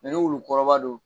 ni wulu kɔrɔba don.